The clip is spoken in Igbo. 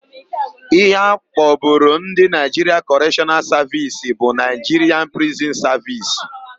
Íhé a kpọburu Ndị Naịjiria Kọreshọnal Savisi bụ Naịjiria Prizin Savisi.